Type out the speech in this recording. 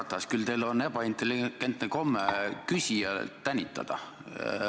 Härra Ratas, küll teil on ebaintelligentne komme küsijat tänitada.